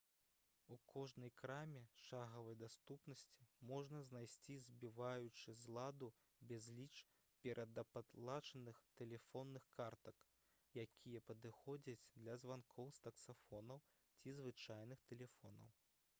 у кожнай краме шагавай даступнасці можна знайсці збіваючы з ладу безліч перадаплачаных тэлефонных картак якія падыходзяць для званкоў з таксафонаў ці звычайных тэлефонаў